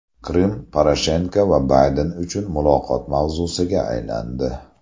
Qrim Poroshenko va Bayden uchun muloqot mavzusiga aylandi.